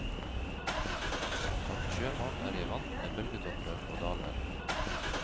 Som sjømann er jeg vant med bølgetopper og daler.